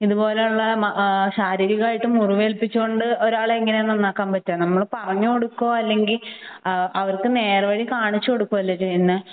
ഇതുപോലുള്ള ശാരീരികമായിട്ടുള്ള മുറിവേൽപ്പിച്ചു കൊണ്ട് ഒരാളെ എങ്ങനെയാണ് നന്നാക്കാൻ പറ്റുക . നമ്മൾ പറഞ്ഞുകൊടുക്കുക അല്ലെങ്കിൽ അവർക്ക് നേർവഴി കാണിച്ചുകൊടുക്കുക അല്ലെ ചെയ്യേണ്ടത്